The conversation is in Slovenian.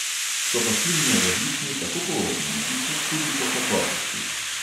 So pa silno različni tako po obliki kot tudi po kakovosti.